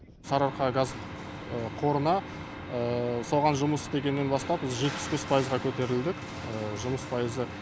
сарыарқа газ құбырына соған жұмыс істегеннен бастап біз жетпіс бес пайызға көтерілдік жұмыс пайызы